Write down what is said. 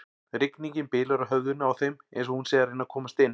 Rigningin bylur á höfðinu á þeim eins og hún sé að reyna að komast inn.